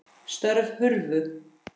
Störf hurfu.